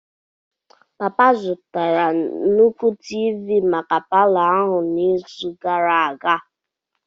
Papa zụtara nnukwu Tiivi maka palọ ahụ n'izu gara aga.